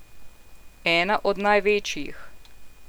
Ena od največjih.